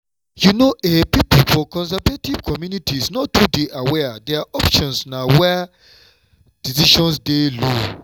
you know ehhn pipo for conservative communities no too dey aware their options na why decisions dey low